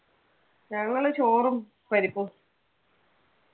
ഞങ്ങള് ചോറും പരിപ്പും.